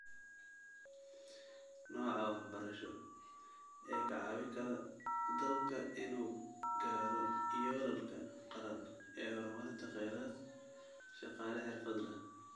Nooca waxbarasho ee ka caawin kara dalka inuu gaaro yoolalka qaran ee horumarinta kheyraad shaqaale xirfad leh.